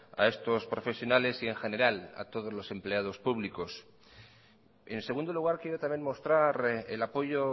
a estos profesionales y en general a todos los empleados públicos en segundo lugar quiero también mostrar el apoyo